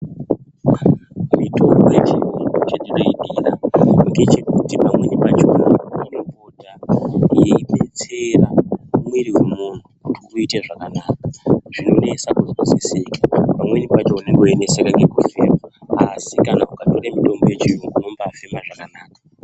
Mitombo yechibhoyi chandoidira ndechekuti pamweni pakona mimbiti yeidetsera irimo kuita zvakanaka Pamweni pacho unenge uchineseka nekufema asi ukatora mitombo iyi unombafila zvakanaka.